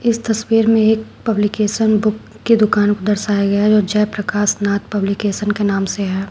इस तस्वीर में एक पब्लिकेशन बुक की दुकान को दर्शाया गया है जो जयप्रकाश नाथ पब्लिकेशन के नाम से है।